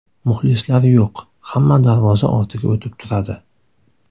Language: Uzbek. Muxlislar yo‘q, hamma darvoza ortiga o‘tib turadi.